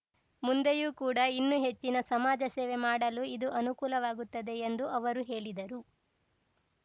ಮುಂದೆಯೂ ಕೂಡ ಇನ್ನು ಹೆಚ್ಚಿನ ಸಮಾಜ ಸೇವೆ ಮಾಡಲು ಇದು ಅನುಕೂಲವಾಗುತ್ತದೆ ಎಂದು ಅವರು ಹೇಳಿದರು